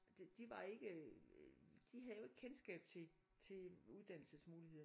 De de var ikke øh de havde jo ikke kendskab til til uddannelsesmuligheder